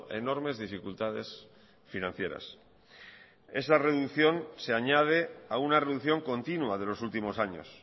enormes dificultades financieras esta reducción se añade a una reducción continua de los últimos años